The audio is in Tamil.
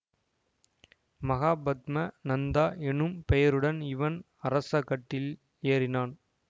மகாபத்ம நந்தா என்னும் பெயருடன் இவன் அரச கட்டில் ஏறினான்